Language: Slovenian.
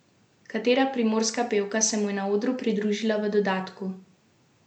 Katera primorska pevka se mu je na odru pridružila v dodatku?